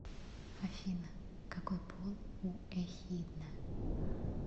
афина какой пол у эхидна